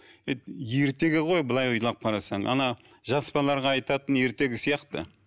ертегі ғой былай ойлап қарасаң жас балаларға айтатын ертегі сияқты